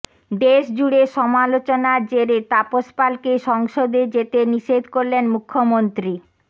দেশ জুড়ে সমালোচনার জেরে তাপস পালকে সংসদে যেতে নিষেধ করলেন মুখ্যমন্ত্রী